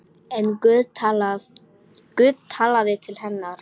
En Guð talaði til hennar.